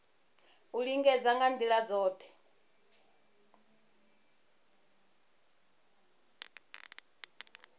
u lingedza nga ndila dzothe